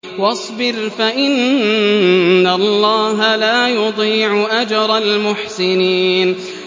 وَاصْبِرْ فَإِنَّ اللَّهَ لَا يُضِيعُ أَجْرَ الْمُحْسِنِينَ